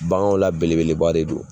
Baganw la belebeleba de don